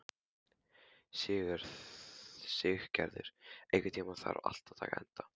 Siggerður, einhvern tímann þarf allt að taka enda.